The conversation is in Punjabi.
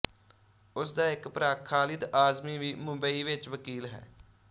ਉਸ ਦਾ ਇੱਕ ਭਰਾ ਖਾਲਿਦ ਆਜ਼ਮੀ ਵੀ ਮੁੰਬਈ ਵਿੱਚ ਵਕੀਲ ਹੈ